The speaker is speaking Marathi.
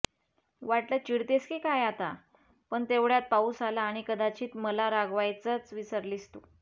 वाटलं चिडतेस की काय आता पण तेवढ्यात पाऊस आला आणि कदाचित मला रागवायचच विसरलीस तू